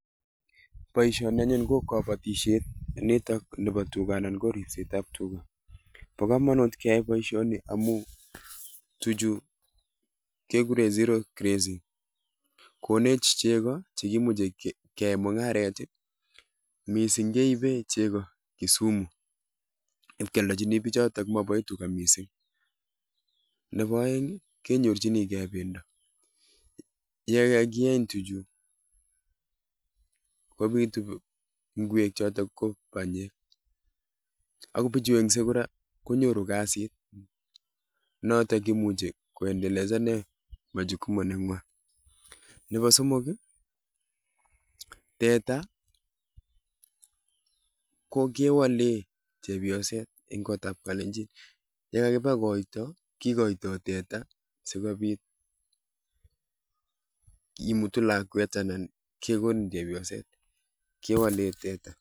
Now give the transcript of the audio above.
Boisioni anyun ko kabatisiet nitok nebo tuga ana ko ripset ab tuga. Bo kamanut keyai boisiono amu tuchu keguren zero grazing. Konech chego chegimuche keyaen mungaret. Mising keipe chego Kisumu ipkialdechini pichoto maboe tuga mising. Nebo aeng ii kenyorchinige bendo. Ye kagieny tuchu kopitu kwek choto ko banyek, ago bichu engse kora konyoru kasit notok kimuchi ko endeleza[sc] nen majukumu nengwa. Nebo somok ko teta kokewale chepioset eng kotab kalenjin. Ye kagiba koito kigoitoi teta sigopit kimutu lakwet anan kegonin chepioset, kewalen teta.